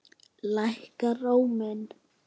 Lækkar róminn.